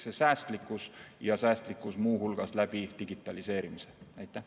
Seega säästlikkus, ja säästlikkus muu hulgas digitaliseerimise abil.